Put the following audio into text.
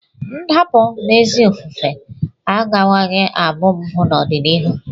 Ndapụ n'ezi ofufe agakwaghị abụ mpụ n'ọdịnihu.